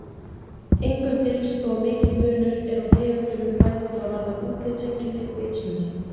Engum dylst þó að mikill munur er á tegundunum bæði hvað varðar útlitseinkenni og vitsmuni.